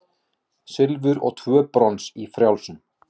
Silfur og tvö brons í frjálsum